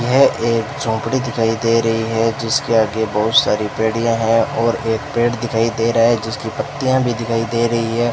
यह एक झोपड़ी दिखाई दे रही है जिसके आगे बहुत सारे बेड़ियां है और एक पेड़ दिखाई दे रहा है जिसकी पत्तियां भी दिखाई दे रही हैं।